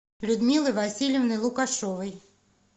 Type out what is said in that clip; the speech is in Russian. людмилы васильевны лукашовой